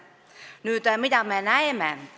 Nüüd, mida me praegu näeme?